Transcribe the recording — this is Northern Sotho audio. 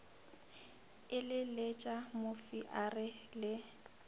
eleletša mofi a re le